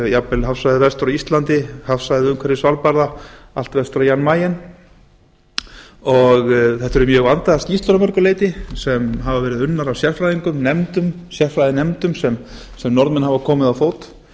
jafnvel hafsvæðið vestur af íslandi hafsvæðið umhverfis svalbarða allt vestur á jan mayen þetta eru mjög vandaðar skýrslur að mörgu leyti enn hafa verið unnar af sérfræðingum sérfræðinefndum sem norðmenn hafa komið á fót